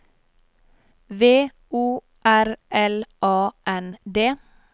V O R L A N D